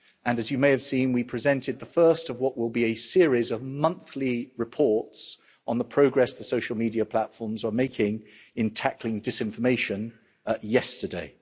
As you may have seen, we presented the first of what will be a series of monthly reports on the progress the social media platforms are making in tackling disinformation yesterday.